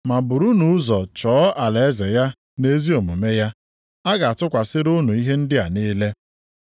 Ma burunu ụzọ chọọ alaeze ya na ezi omume ya, a ga-atụkwasịkwara unu ihe ndị a niile.